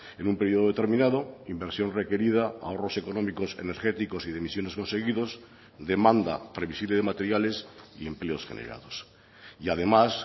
en un periodo determinado inversión requerida ahorros económicos energéticos y de emisiones conseguidos demanda previsible de materiales y empleos generados y además